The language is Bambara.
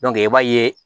i b'a ye